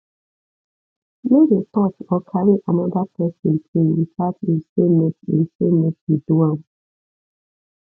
no dey touch or carry another person thing without e say make e say make you do am